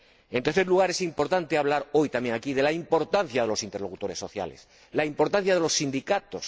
En tercer lugar, es importante hablar hoy también aquí de la importancia de los interlocutores sociales, la importancia de los sindicatos.